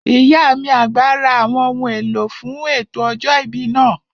Ìyá mi àgbà ra àwọn ohun èlò fún ètò ọjọ́ ìbí náà